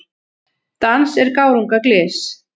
Dans er gárunga glys.